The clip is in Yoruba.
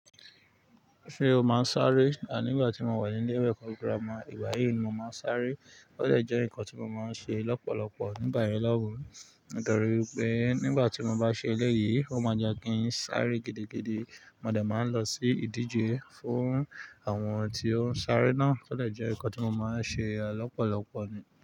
Ṣé o máa ń sáré? À nígbà tí mo wà ní ilé ìwé eko girama, igba yìí ni mo máa ń sáré. Ó dè jẹ́ ǹkan tí mo máa ń ṣe lọ́pọ̀lọpọ̀ nígbà yen lọ̀hun. Nítorí wipé nígbà tí mo bá ṣe eléyìí, ó máa jẹ́ kí n sáré gidigidi. Mo de máa ń lọ sí ìdíje fún àwọn tí ó ń sáré náà, tió dè jẹ́ ǹkan tí mo máa ń ṣe lọ́pọ̀lọpọ̀ ni.